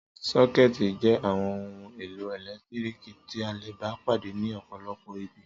Sọ́kẹ́tì jẹ́ àwọn ohun-èlò ẹ̀lẹ́tíríkì tí a le bá pàdé ní ọ̀pọ̀lọpọ̀ ibi.